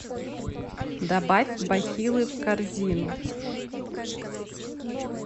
добавь бахилы в корзину